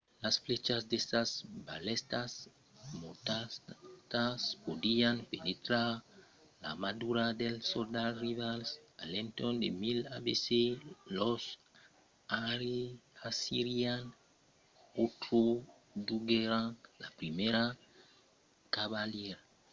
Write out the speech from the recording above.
las flèchas de sas balèstas mortalas podián penetrar l’armadura dels soldats rivals. a l’entorn de 1000 abc los assirians introduguèron la primièra cavalariá